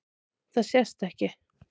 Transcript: Það sést ekki.